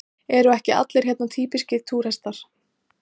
Eru ekki allir hérna týpískir túrhestar?